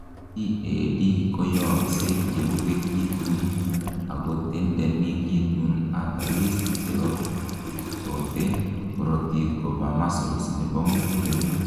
CAD koyooksei yeuwekitun akotendenekitun arteries cherobtote karotik koba muscle nebo muguleldo